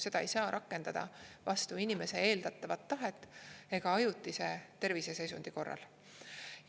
Seda ei saa rakendada vastu inimese eeldatavat tahet ega ajutise terviseseisundi korral.